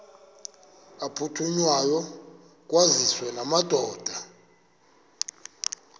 aphuthunywayo kwaziswe amadoda